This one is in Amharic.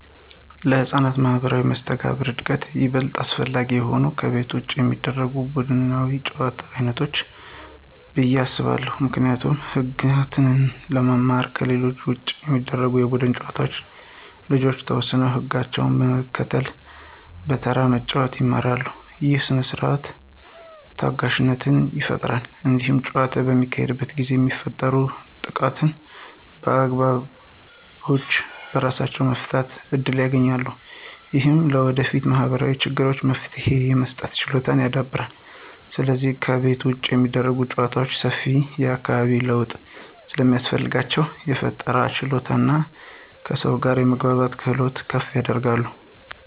ለሕፃናት ማኅበራዊ መስተጋብር እድገት ይበልጥ አስፈላጊ የሆኑት ከቤት ውጭ የሚደረጉ ቡድናዊ የጨዋታ ዓይነቶች ናቸው ብዬ አስባለሁ። ምክንያቱም ህግጋትን ለመማር ከቤት ውጭ በሚደረጉ የቡድን ጨዋታዎች ልጆች የተወሰኑ ህግጋትን መከተልና በተራ መጫወት ይማራሉ። ይህ ሥርዓትንና ታጋሽነትን ይፈጥራል። እንዲሁም ጨዋታው በሚካሄድበት ጊዜ የሚፈጠሩ ጥቃቅን አለመግባባቶችን በራሳቸው የመፍታት እድል ያገኛሉ። ይህም ለወደፊት ማኅበራዊ ችግሮች መፍትሄ የመስጠት ችሎታን ያዳብራል። ስለዚህ ከቤት ውጭ የሚደረጉ ጨዋታዎች ሰፊ የአካባቢ ለውጥ ስለሚያስፈልጋቸው፣ የፈጠራ ችሎታንና ከሰዎች ጋር የመግባባትን ክህሎት ከፍ ያደርጋሉ።